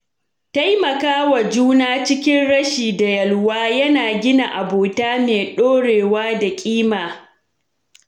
Taimakawa juna cikin rashi da yalwa yana gina abota mai ɗorewa da ƙima.